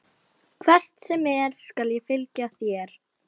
Hvert sem er skal ég fylgja þér.